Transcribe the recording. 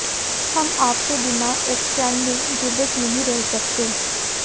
हम आपके बिना एक क्षण भी जीवित नहीं रह सकते